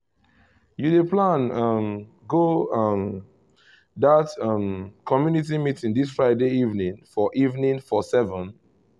you dey plan um go um that um community meeting this friday evening for evening for seven?